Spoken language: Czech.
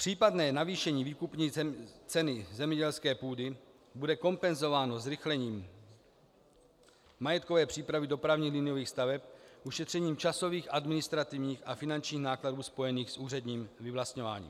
Případné navýšení výkupní ceny zemědělské půdy bude kompenzováno zrychlením majetkové přípravy dopravních liniových staveb, ušetřením časových, administrativních a finančních nákladů spojených s úředním vyvlastňováním.